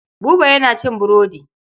Buba yana cin burodi.